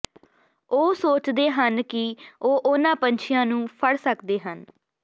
ਉਹ ਸੋਚਦੇ ਹਨ ਕਿ ਉਹ ਉਨ੍ਹਾਂ ਪੰਛੀਆਂ ਨੂੰ ਫੜ ਸਕਦੇ ਹਨ